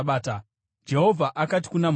Jehovha akati kuna Mozisi,